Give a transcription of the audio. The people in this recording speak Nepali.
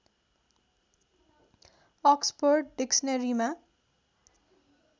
अक्सपोर्ड डिक्सनरीमा